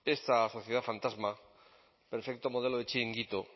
esta sociedad fantasma perfecto modelo de chiringuito